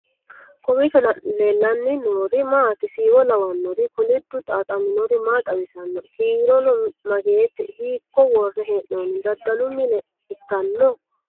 kaawiicho leellanni noori maati siiwo lawannuri koliddu xaaxammori maa xawisanno ? kiirono mageete hiikko worre hee'nonni ? dadalu mine ikkanno ?